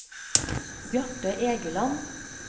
Bjarte Egeland